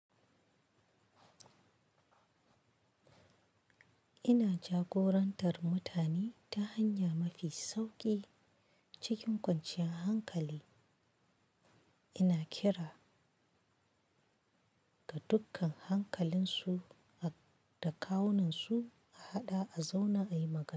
Ina jagorantar mutane ta hanya mafi sauƙi cikin kwanciyar hankali. Ina kira ga dukkan hankalinsu da kawunansu a haɗa a zauna ayi magana.